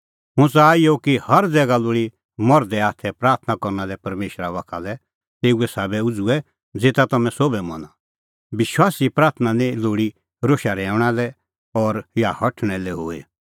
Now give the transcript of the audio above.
हुंह च़ाहा इहअ कि हर ज़ैगा लोल़ी मर्धे हाथ प्राथणां करना लै परमेशरा बाखा लै तेऊ साबै उझ़ुऐ ज़ेता हाम्हैं सोभै मना विश्वासीए प्राथणां निं लोल़ी रोशा रहैऊंणा लै या हठल़णैं लै हुई